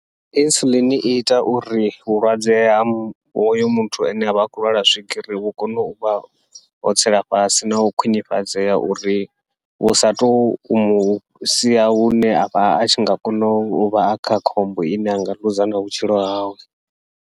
Insulin iita uri vhulwadze ha hoyo muthu ane avha a khou lwala swigiri vhu kone uvha ho tsela fhasi, nau khwiṋifhadzea uri vhu sa to musia hune avha atshi nga kona uvha a kha khombo ine anga ḽuza na vhutshilo hawe.